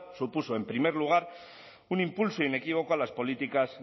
supuso en primer lugar un impulso inequívoco a las políticas